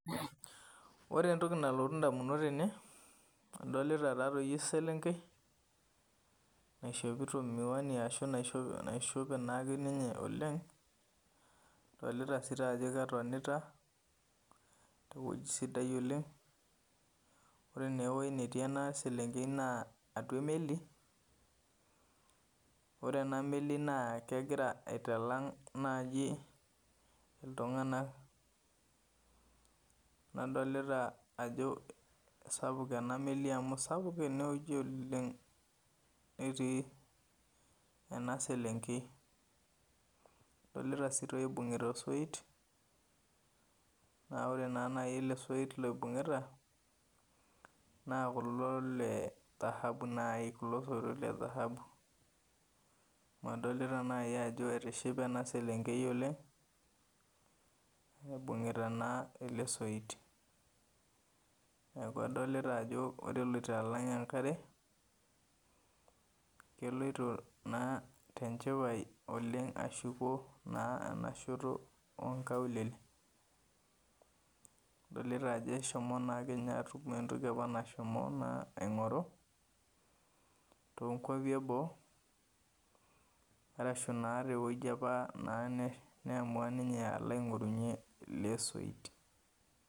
Ore entoki nalotu indamunot ainei adolita taatoi eselenkei naishopita miwani ashu naishope naake ninye oleng', adolita sii taa ajo ketonita tewueji sidai oleng', ore neewuei natii ena selenkei naa atua emeli ore ena meli naa egira aitalang' naaji iltung'ana nadolita ajo sapuk ena meli amu sapuk enewueji ooleng' netii ena selenkei. Adolita sii toi eibung'ita osoit naa ore naa nai ele soit loibung'ita naa kulo tahabu nai kulo soito le dhahabu amu adolita nai ajo etishipe ena selenkei oleng' eibung'i naa ele soit. Neaku adolita ajo ore eloito alang' enkare keloita naa tenchipai oleng' ashuko naa enashoto oonkaulele. Adolita ajo eshomo naake ninye atum entoki nashomo naa aing'oru toonkuapi eboo arashu naa tewueji apa naa neshom naa neamua ninye alo aing'orunye ele soit.